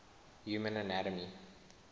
human anatomy